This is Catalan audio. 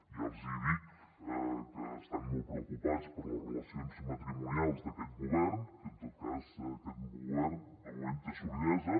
ja els hi dic que estan molt preocupats per les relacions matrimonials d’aquest govern que en tot cas aquest govern de moment té solidesa